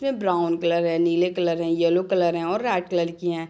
जिसमें brown colour हैं नीले कलर हैं येलो कलर हैं और रेड कलर की हैं।